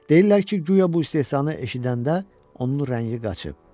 Deyirlər ki, guya bu istehzanı eşidəndə onun rəngi qaçıb.